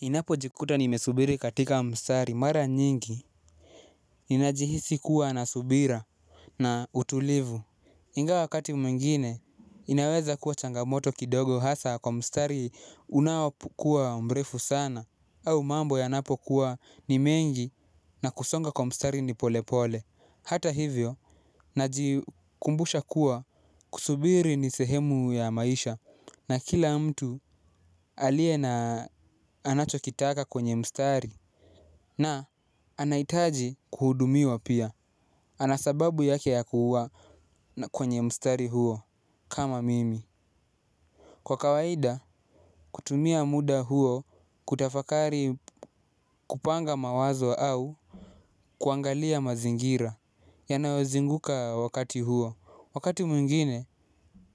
Ninapo jikuta nimesubiri katika mstari mara nyingi, ninajihisi kuwa na subira na utulivu. Ingawa wakati mwingine, inaweza kuwa changamoto kidogo hasa kwa mstari unaokuwa mrefu sana. Au mambo yanapo kuwa ni mengi na kusonga kwa mstari ni polepole. Hata hivyo, najikumbusha kuwa kusubiri ni sehemu ya maisha. Na kila mtu aliye na anachokitaka kwenye mstari na anahitaji kuhudumiwa pia. Ana sababu yake ya kuwa kwenye mstari huo kama mimi. Kwa kawaida kutumia muda huo kutafakari kupanga mawazo au kuangalia mazingira yanayozinguka wakati huo. Wakati mwingine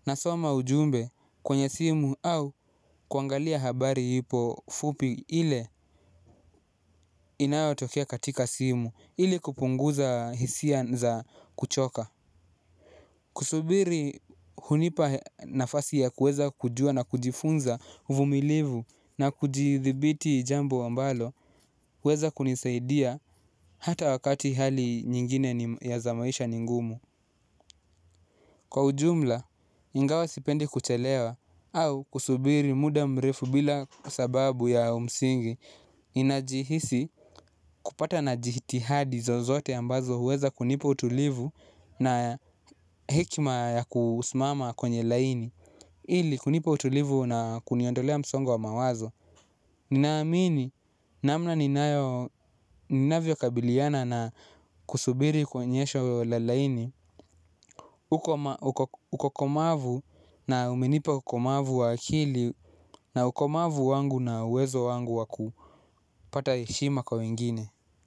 nasoma ujumbe kwenye simu au kuangalia habari hipo fupi ile inayo tokea katika simu ili kupunguza hisia za kuchoka. Kusubiri hunipa nafasi ya kuweza kujua na kujifunza uvumilivu na kujithibiti jambo ambalo huweza kunisaidia hata wakati hali nyingine ni ya za maisha ni ngumu. Kwa ujumla, ingawa sipendi kuchelewa au kusubiri muda mrefu bila sababu ya umsingi ninajihisi kupata na jihitihadi zozote ambazo huweza kunipa utulivu na hekima ya kusimama kwenye laini. Ili kunipa utulivu na kuniondolea msongo wa mawazo. Ninaamini namna ninayo ninavyo kabiliana na kusubiri kwenye sho la laini. Uko komavu na umenipa ukomavu wa akili na ukomavu wangu na uwezo wangu wakupata heshima kwa wengine.